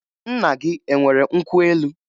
Nna gị e nwere nkwụ elu?